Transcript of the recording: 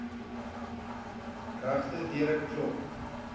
regte deure klop